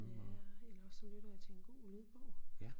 Ja og eller også så lytter jeg til en god lydbog